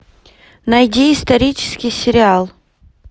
найди исторический сериал